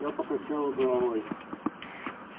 я покачала головой